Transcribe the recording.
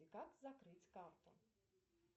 как закрыть карту